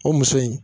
O muso in